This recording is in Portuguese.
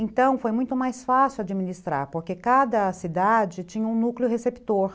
Então foi muito mais fácil administrar, porque cada cidade tinha um núcleo receptor.